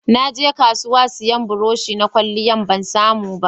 Na je kasuwa sayan burosh na kwalliya, ban samu ba